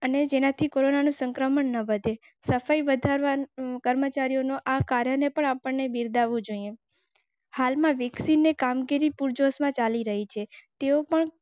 અને જેનાથી કોરોનાનું સંક્રમણ ન વધે સફાઈ કર્મચારીઓ આ કારણે પણ અપને વિરતા હો જાયે. હાલમાં વિકસીને કામગીરી પૂરજોશમાં ચાલી રહી છે.